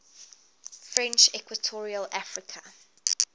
french equatorial africa